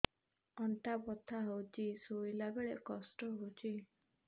ଅଣ୍ଟା ବଥା ହଉଛି ଶୋଇଲା ବେଳେ କଷ୍ଟ ହଉଛି